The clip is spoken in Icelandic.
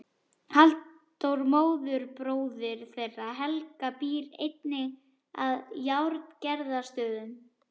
Halldór móðurbróðir þeirra Helga býr einnig að Járngerðarstöðum.